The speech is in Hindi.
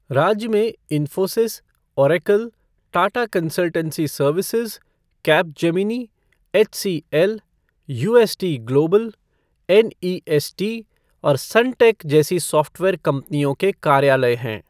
राज्य में Infosys, Oracle, Tata consultancy services, Capgemini, HCL, UST Global, NEST और सनटेक जैसी सॉफ़्टवेयर कंपनियों के कार्यालय हैं।